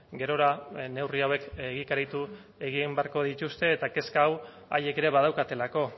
gerora neurri hauek egikaritu egin beharko dituzte eta kezka hau haiek ere badaukatelako